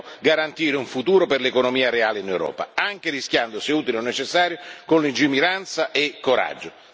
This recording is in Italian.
Noi dobbiamo garantire un futuro per l'economia reale in Europa, anche rischiando se utile o necessario, con lungimiranza e coraggio.